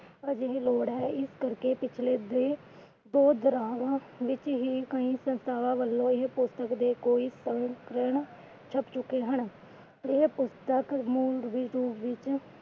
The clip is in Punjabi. ਅਜਿਹੀ ਲੋੜ ਆ ਇਸ ਕਰਕੇ ਪਿਛਲੇ ਦੇ ਵਿਚ ਹੀ ਇਹ ਪੁਸਤਕ ਦੇ ਕੋਈ ਸੰਸਕਰਣ ਛਪ ਚੁੱਕੇ ਹਨ। ਇਹ ਪੁਸਤਕ